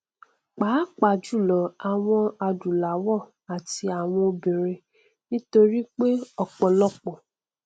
pàápàá jùlọ àwọn adúláwọ àti àwọn obìnrin nítorí pé ọpọlọpọ